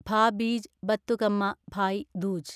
Bhaubeej Bathukamma Bhai Dooj